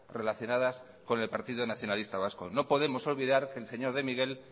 relacionadas con el partido nacionalista vasco no podemos olvidar que el señor de miguel